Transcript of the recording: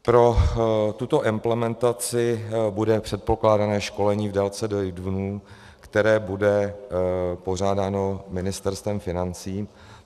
Pro tuto implementaci bude předpokládané školení v délce devět dnů, které bude pořádáno Ministerstvem financí.